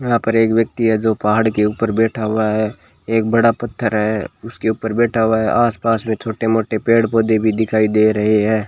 यहां पर एक व्यक्ति है जो पहाड़ के ऊपर बैठा हुआ है एक बड़ा पत्थर है उसके ऊपर बैठा हुआ है आस पास में छोटे मोटे पेड़ पौधे भी दिखाई दे रहे हैं।